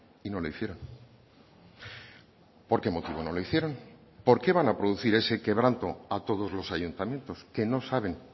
y no lo hicieron por qué motivo no lo hicieron por qué van a producir ese quebranto a todos los ayuntamientos que no saben